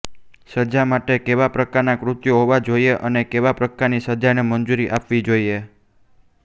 સજા માટે કેવા પ્રકારના કૃત્યો હોવા જોઇએ અને કેવા પ્રકારની સજાને મંજૂરી આપવી જોઇએ